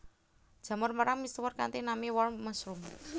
Jamur merang misuwur kanthi nami warm mushroom